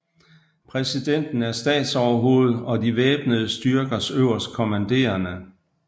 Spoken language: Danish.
Præsidenten er statsoverhoved og de væbnede styrkers øverstkommanderende